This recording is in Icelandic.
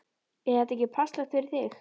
Er þetta ekki passlegt fyrir þig?